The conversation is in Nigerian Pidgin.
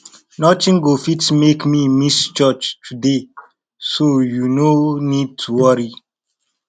nothing go fit make me miss church today so you no need to worry